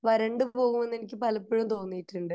വരണ്ടു പോകുമെന്ന് എനിക്ക് പലപ്പോഴും തോന്നിയിട്ടുണ്ട്